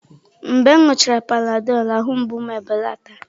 Mgbe m ṅụọchara Panadọlụ, ahụ mgbu m ebelata.